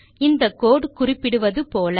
இந்த கோடு குறிப்பிடுவது போல